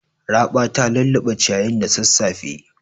Raɓa ta lulluɓe ciyayin da sassafe.